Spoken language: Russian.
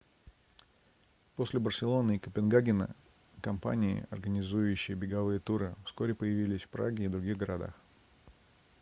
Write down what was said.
после барселоны и копенгагена компании организующие беговые туры вскоре появились в праге и других городах